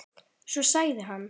Svo sagði hann